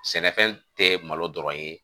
Sɛnɛfɛn tɛ malo dɔrɔn ye